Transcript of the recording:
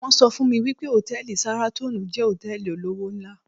won so fun mi wi pe hòtẹ́ẹ̀lì Sahraton jẹ́ hotẹ́ẹ̀lì olówó ńlá